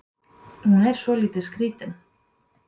Hún er svolítið skrítin.